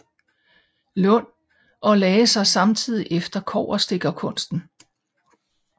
Lund og lagde sig samtidig efter kobberstikkerkunsten